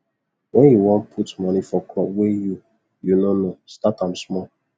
wen you won put moni for crop wey you you nor know start am small